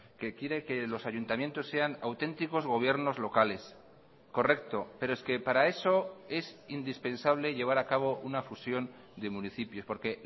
que quiere que los ayuntamientos sean auténticos gobiernos locales correcto pero es que para eso es indispensable llevar a cabo una fusión de municipios porque